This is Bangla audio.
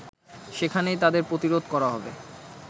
সেখানেই তাদের প্রতিরোধ করা হবে